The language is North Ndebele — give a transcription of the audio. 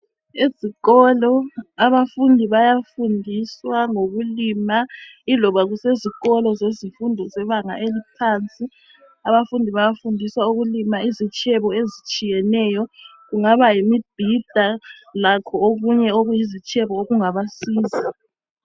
Ezikolo abafundi bayafundiswa ngokulima iloba kusezikolo zezifundo zebanga eliphansi abafundi bayafundiswa ukulima izitshebo ezitshiyeneyo kungaba yimibhida lakho okunye okuyizitshebo okungabasiza.